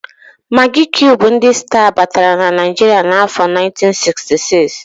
Magị kiub ndị sta batara na Naịjiria n'afọ 1966.